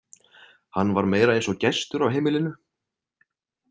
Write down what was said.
Hann var meira eins og gestur á heimilinu.